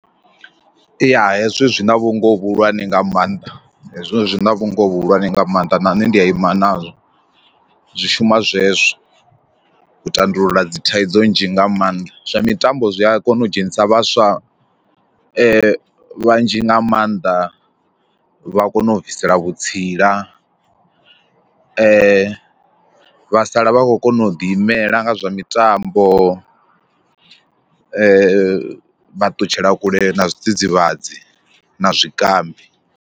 Ya hezwi zwi na vhungoho vhuhulwane nga maanḓa hezwo zwi na vhungoho vhuhulwane nga maanḓa na nṋe ndi a ima nazwo zwi shuma zwezwo u tandulula dzithaidzo nzhi nga maanḓa, zwa mitambo zwi a kona u dzhenisa vhaswa vhanzhi nga maanḓa vha kona u bvisela vhutsila e vha sala vha khou kona u ḓi imela nga zwa mitambo vha ṱutshela kule na zwidzidzivhadzi na zwikambi.